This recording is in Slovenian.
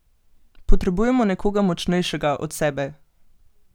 Potrebujemo nekoga močnejšega od sebe!